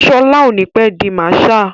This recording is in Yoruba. Ṣọlá ò ní pé di Marshal.